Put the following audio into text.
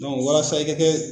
walasa i ka kɛ